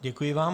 Děkuji vám.